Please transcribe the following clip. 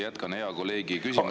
Jätkan hea kolleegi küsimust …